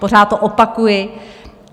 Pořád to opakuji.